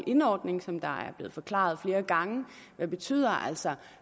in ordning den er blevet forklaret flere gange men betyder altså at